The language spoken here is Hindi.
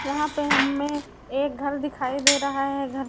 यहाँ पे ह्ममें एक घर दिखाई दे रहा है घर--